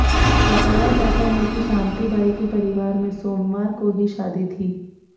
बताया जाता है कि शांति बाई के परिवार में सोमवार को ही शादी थी